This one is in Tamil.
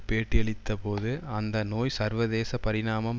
பேட்டியளித்தபோது அந்த நோய் சர்வதேச பரிணாமம்